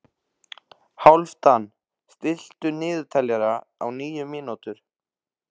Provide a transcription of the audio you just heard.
Hálfdan, stilltu niðurteljara á níu mínútur.